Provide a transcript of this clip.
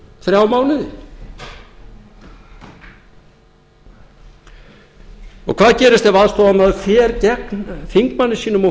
þrjá mánuði hvað gerist ef aðstoðarmaður fer gegn þingmanni sínum og húsbónda